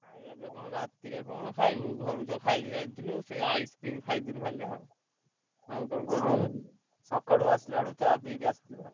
ଖାୟା ପିୟା କଣ ରା ତିରେ କଣ ଖାଇବୁ ଘରୁ ତ ଖାଇକି ଯାଇଥିଲୁ ସେ ice cream ଖାଇଥିଲୁ ଖାଲି ଆଉ। ଆଉ କଣ କହିଲ ସକାଳୁ ଆସିଲା ବେଳକୁ ଚାଆ ପିଇକି ଆସି ଥିଲୁ ଆଉ।